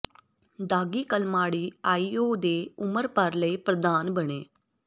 ਦਾਗੀ Kalmadi IOA ਦੇ ਉਮਰ ਭਰ ਲਈ ਪ੍ਰਧਾਨ ਬਣੇ